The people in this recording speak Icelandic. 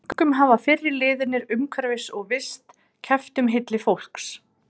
Enska liðið hefur að engu að keppa enda úr leik.